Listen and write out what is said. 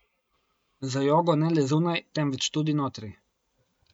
Z jogo ne le zunaj, temveč tudi notri.